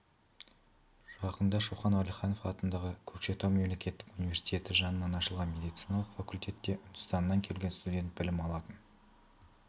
жақында шоқан уәлиханов атындағы көкшетау мемлекеттік университеті жанынан ашылған медициналық факультетте үндістаннан келген студент білім алатын